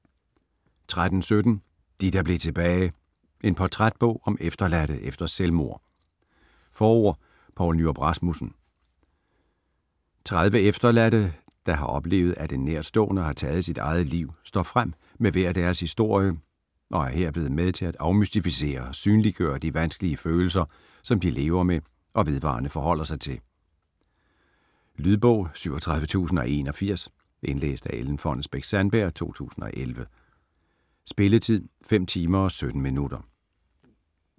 13.17 De der blev tilbage: en portrætbog om efterladte efter selvmord Forord: Poul Nyrup Rasmussen. 30 efterladte, der har oplevet at en nærstående har taget sit eget liv, står frem med hver deres historie og er herved med til at afmystificere og synliggøre de vanskelige følelser, som de lever med og vedvarende forholder sig til. Lydbog 37081 Indlæst af Ellen Fonnesbech-Sandberg, 2011. Spilletid: 5 timer, 17 minutter.